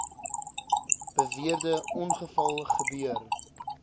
beweerde ongeval gebeur